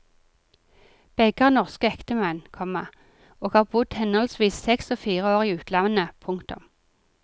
Begge har norske ektemenn, komma og har bodd henholdsvis seks og fire år i landet. punktum